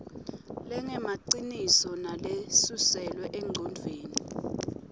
lengemaciniso nalesuselwe engcondvweni